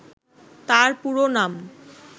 তার পুরো নাম